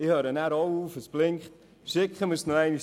Ich höre nachher auch auf, die Lampe blinkt.